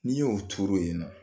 N'i y'o turu yen ninɔ